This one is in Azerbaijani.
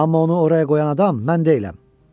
Amma onu oraya qoyan adam mən deyiləm.